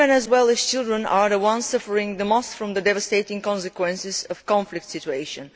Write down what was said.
Women, as well as children, are the ones suffering most from the devastating consequences of conflict situations.